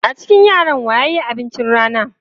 A cikin yaran wa ya yi abincin rana?